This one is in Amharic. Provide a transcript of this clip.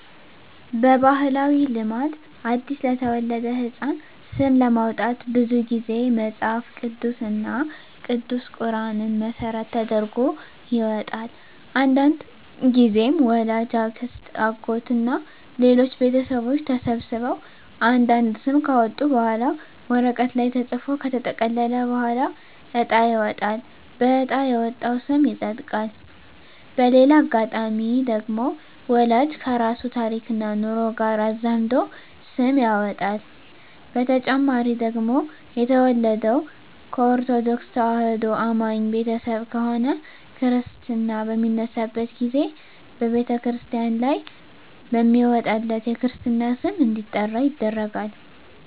በባህላዊ ልማድ አዲስ ለተወለደ ህጻን ስም ለማውጣት ብዙ ግዜ መጸሀፍ ቅዱስ እና ቅዱስ ቁራንን መሰረት ተደርጎ ይወጣል። አንዳንድግዜም ወላጅ፣ አክስት፣ አጎት እና ሌሎች ቤተሰቦች ተሰብስበው አንድ አንድ ስም ካወጡ በኋላ ወረቀት ላይ ተጽፎ ከተጠቀለለ በኋላ እጣ ይወጣል በእጣ የወጣው ስም ይጸድቃል። በሌላ አጋጣሚ ደግሞ ወላጅ ከራሱ ታሪክና ኑሮ ጋር አዛምዶ ስም ያወጣል። በተጨማሪ ደግሞ የተወለደው ከኦርተዶክ ተዋህዶ አማኝ ቤተሰብ ከሆነ ክርስታ በሚነሳበት ግዜ በተክርስቲያን ላይ በሚወጣለት የክርስትና ስም እንዲጠራ ይደረጋል።